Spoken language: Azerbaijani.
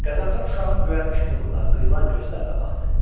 Qəzənfər uşağın göyərmiş burnuna, qıyılan gözlərinə baxdı.